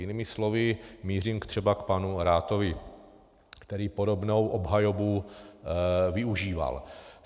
Jinými slovy, mířím třeba k panu Rathovi, který podobnou obhajobu využíval.